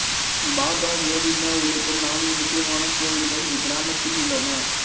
பாபா கோவிந்தா உள்ளிட்ட நான்கு முக்கியமான கோவில்கள் இக்கிராமத்தில் உள்ளன